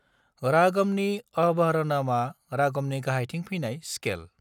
रागमनि अवरहनमा रागमनि गाहायथिं फैनाय स्केल।